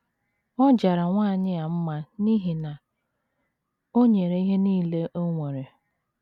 Ọ jara nwanyị a mma n’ihi na o nyere ihe nile o nwere.